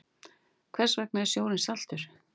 Hvers vegna er sjórinn saltur?